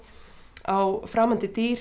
á framandi dýr